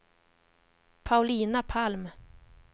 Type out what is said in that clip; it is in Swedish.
Paulina Palm